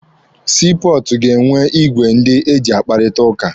Sii pọọtụ ga-enwe igwe ndị eji akparịta ụka.